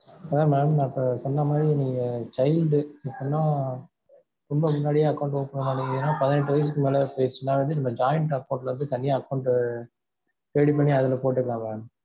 mam நான் அப்ப சொன்ன மாதிரி நீங்க child டு அப்படின்னா ரொம்ப முன்னாடியே account open பண்ணி இருக்கீங்க ஏன்னா பதினெட்டு வயசு ஆயிடுச்சுன்னா வந்து joint account ல இருந்து தனி account டு ready பண்ணி அதுல போட்டுக்கலாம் mam